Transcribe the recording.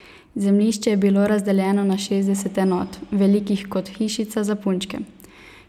Zemljišče je bilo razdeljeno na šestdeset enot, velikih kot hišica za punčke.